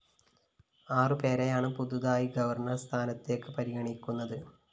ആറു പേരെയാണ് പുതുതായി ഗവർണർ സ്ഥാനത്തേക്ക് പരിഗണിക്കുന്നത്